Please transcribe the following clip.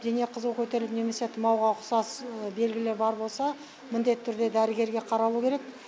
дене қызуы көтеріліп немесе тумауға ұқсас белгілер бар болса міндетті түрде дәрігерге қаралу керек